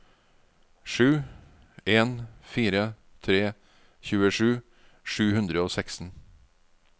sju en fire tre tjuesju sju hundre og seksten